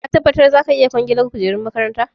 Ka tabbata za ka iya kwangilar kujerun makarantar?